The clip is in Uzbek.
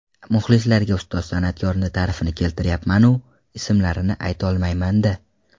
Muxlislarga ustoz san’atkorni ta’rifini keltirayapman-u, ismlarini aytolmayman-da.